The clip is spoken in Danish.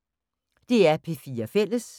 DR P4 Fælles